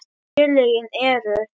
Félögin eru